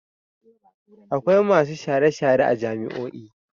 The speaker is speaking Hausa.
Akwai masu share-share a jami'io.